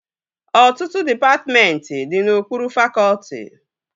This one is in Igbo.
Ọtụtụ dịpatmentị dị n'okpuru fakọtị